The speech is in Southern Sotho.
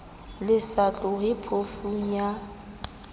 le sa tlohe phofung ya